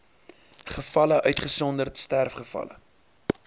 gevalle uitgesonderd sterfgevalle